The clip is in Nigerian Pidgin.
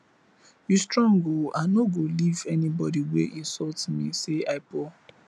you strong oo i no go leave anybody wey insult me say i poor